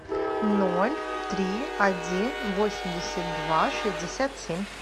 ноль три один восемьдесят два шестьдесят семь